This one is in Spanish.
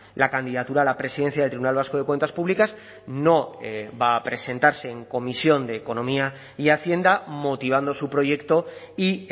la candidatura a la presidencia del tribunal vasco de cuentas públicas no va a presentarse en comisión de economía y hacienda motivando su proyecto y